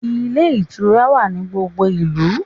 Ilé ìtura wa ní gbogbo ìlú